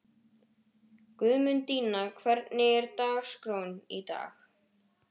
Guðmundína, hvernig er dagskráin í dag?